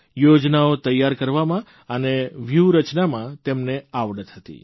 યોજનાઓ તૈયાર કરવામાં અને વ્યૂહરચનામાં તેમને આવડત હતી